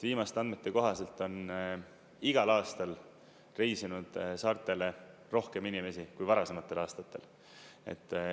Viimaste andmete kohaselt on igal aastal reisinud saartele rohkem inimesi kui varasematel aastatel.